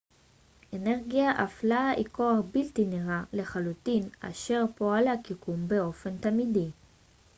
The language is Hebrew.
אנרגיה אפלה היא כוח בלתי נראה לחלוטין אשר פועל על היקום באופן תמידי